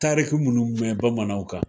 Tariki munnu mɛn bamananw kan.